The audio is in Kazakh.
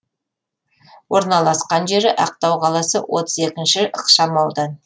орналасқан жері ақтау қаласы отыз екінші ықшам аудан